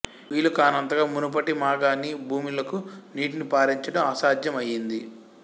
వీలు కానంతగా మునుపటి మాగాణి భూములకు నీటిని పారించడం అసాధ్యం అయింది